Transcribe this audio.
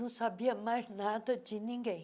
Não sabia mais nada de ninguém.